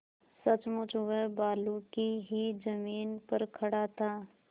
सचमुच वह बालू की ही जमीन पर खड़ा था